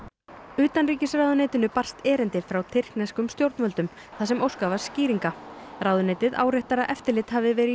utanríkisráðuneytinu barst erindi frá tyrkneskum stjórnvöldum þar sem óskað var skýringa ráðuneytið áréttar að eftirlit hafi verið í